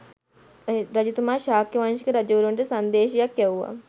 රජතුමා ශාක්‍ය වංශික රජවරුන්ට සංදේශයක් යැව්වා.